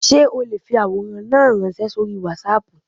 Sé o le fi àwòrán náà ránsẹ́ sórí Wásaàpù